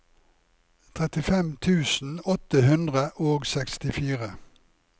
trettifem tusen åtte hundre og sekstifire